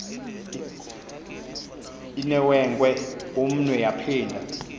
inewenkwe umnwe yaphinda